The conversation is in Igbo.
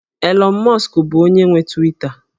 Elon Musk bụ onye nwe Twita